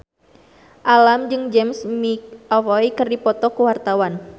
Alam jeung James McAvoy keur dipoto ku wartawan